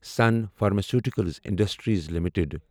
sun pharmaceuticals industries limited